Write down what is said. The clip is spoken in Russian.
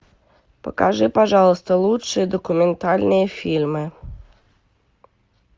покажи пожалуйста лучшие документальные фильмы